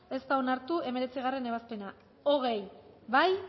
ez da onartu hemeretzigarrena ebazpena hogei bozkatu